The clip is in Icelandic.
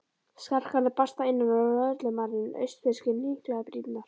Skarkali barst að innan og lögreglumaðurinn austfirski hnyklaði brýnnar.